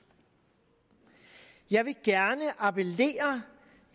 jeg vil gerne appellere